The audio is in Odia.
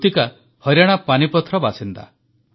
କୃତିକା ହରିୟାଣା ପାନିପଥର ବାସିନ୍ଦା